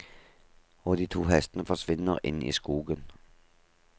Og de to hestene forsvinner inn i skogen.